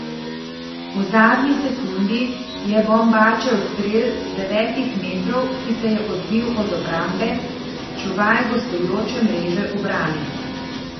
V zadnji sekundi je Bombačev strel z devetih metrov, ki se je odbil od obrambe, čuvaj gostujoče mreže ubranil.